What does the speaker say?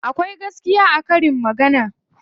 Akwai gaskiya a karin magana.